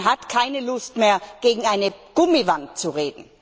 Man hat keine Lust mehr, gegen eine Gummiwand zu reden!